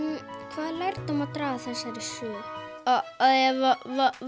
hvaða lærdóm má draga af þessari sögu að ef